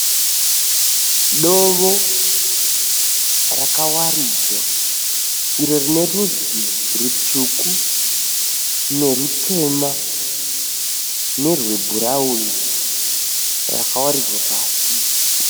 Dovo rakawaridzwa iro rine rudzi rutsvuku nerutema nerwebhurawuni rakawaridzwa pasi.